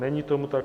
Není tomu tak.